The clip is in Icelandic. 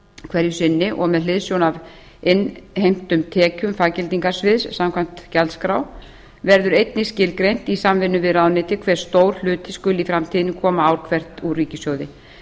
hverju sinni og með hliðsjón af innheimtum tekjum faggildingarsviðs samkvæmt gjaldskrá verður einnig skilgreint í samvinnu við ráðuneytið hve stór hluti skuli í framtíðinni koma ár hvert úr ríkissjóði